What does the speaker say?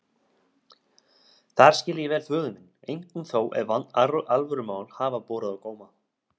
Þar skil ég vel föður minn, einkum þó ef alvörumál hafa borið á góma.